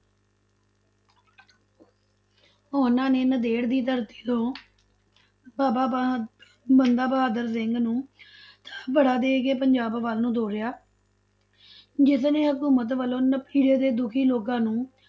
ਉਹਨਾਂ ਨੇ ਨੰਦੇੜ ਦੀ ਧਰਤੀ ਤੋਂ ਬਾਬਾ ਬਾ~ ਬੰਦਾ ਬਹਾਦਰ ਸਿੰਘ ਨੂੰ ਥਾਪੜਾ ਦੇ ਕੇ ਪੰਜਾਬ ਵੱਲ ਨੂੰ ਤੋਰਿਆ ਜਿਸਨੇ ਹਕੂਮਤ ਵੱਲੋਂ ਨਪੀੜੇ ਤੇ ਦੁਖੀ ਲੋਕਾਂ ਨੂੰ,